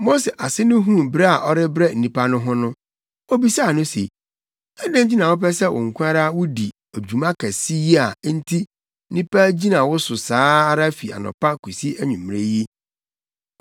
Mose ase no huu brɛ a ɔrebrɛ nnipa no ho no, obisaa no se, “Adɛn nti na wopɛ sɛ wo nko ara wudi dwuma kɛse yi a enti nnipa gyina wo so saa ara fi anɔpa kosi anwummere yi?”